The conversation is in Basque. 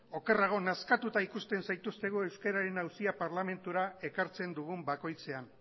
okerrago nazkatuta ikusten zaituztegu euskararen auzia parlamentura ekartzen dugun bakoitzean